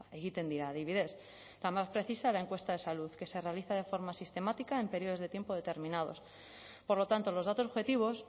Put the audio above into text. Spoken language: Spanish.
egiten dira adibidez la más precisa la encuesta de salud que se realiza de forma sistemática en periodos de tiempo determinados por lo tanto los datos objetivos